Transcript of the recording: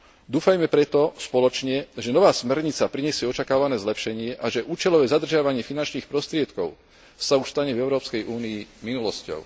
Dúfajme preto spoločne, že nová smernica prinesie očakávané zlepšenie a že účelové zadržiavanie finančných prostriedkov sa už stane v Európskej únii minulosťou.